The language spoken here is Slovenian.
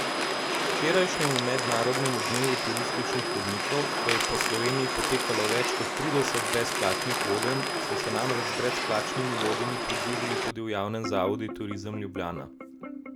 Včerajšnjemu mednarodnemu dnevu turističnih vodnikov, ko je po Sloveniji potekalo več kot trideset brezplačnih vodenj, so se namreč z brezplačnimi vodenji pridružili tudi v javnem zavodu Turizem Ljubljana.